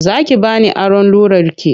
Za ki ba ni aron rularki?